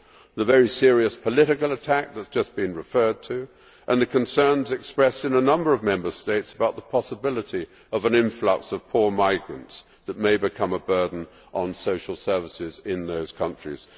the very serious political attack that has just been referred to, and the concerns expressed in a number of Member States about the possibility of an influx of poor migrants that may become a burden on social services in those countries.